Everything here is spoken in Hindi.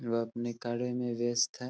वो अपने कार्य में व्यस्त है ।